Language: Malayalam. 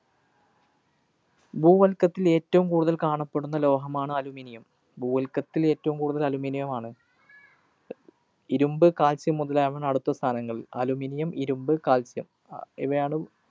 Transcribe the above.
ഭൂവല്‍ക്കത്തില്‍ ഏറ്റവും കൂടുതല്‍ കാണപ്പെടുന്ന ലോഹമാണ് Aluminium. ഭൂവല്‍ക്കത്തില്‍ ഏറ്റവും കൂടുതല്‍ aluminum ആണ്. ഇരുമ്പ്, Calcium മുതലായവയാണ് അടുത്ത സ്ഥാനങ്ങളില്‍. aluminium, ഇരുമ്പ്, Calcium ആഹ് ഇവയാണ്.